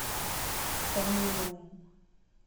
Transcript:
фэмили рум